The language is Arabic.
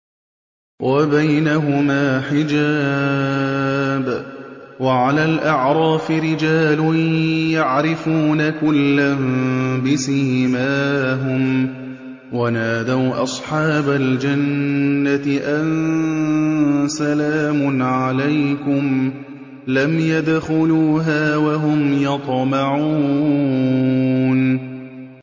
وَبَيْنَهُمَا حِجَابٌ ۚ وَعَلَى الْأَعْرَافِ رِجَالٌ يَعْرِفُونَ كُلًّا بِسِيمَاهُمْ ۚ وَنَادَوْا أَصْحَابَ الْجَنَّةِ أَن سَلَامٌ عَلَيْكُمْ ۚ لَمْ يَدْخُلُوهَا وَهُمْ يَطْمَعُونَ